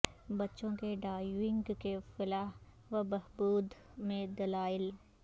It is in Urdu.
بچوں کے ڈائیونگ کے فلاح و بہبود میں دلائل